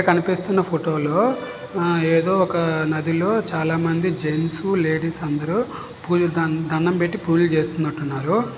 ఇక్కడ కనిపిస్తునా ఫోటో లో ఏదో ఒక నది లో చాలా మంది జెంట్స్ లేడీస్ అందరూ పూజ దండం పెట్టి పూజలు చేస్తునట్టు ఉన్నారు.